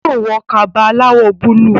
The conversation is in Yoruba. yóò wọ Kaba aláwọ̀ búlúù